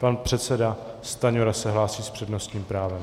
Pan předseda Stanjura se hlásí s přednostním právem.